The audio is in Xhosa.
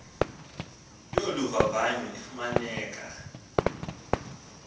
yolu vavanyo ifumaneka